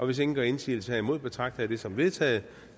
hvis ingen gør indsigelse herimod betragter jeg det som vedtaget